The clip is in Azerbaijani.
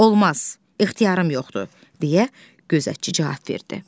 Olmaz, ixtiyarım yoxdur, deyə gözətçi cavab verdi.